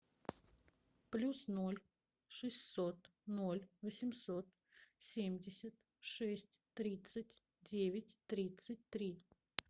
плюс ноль шестьсот ноль восемьсот семьдесят шесть тридцать девять тридцать три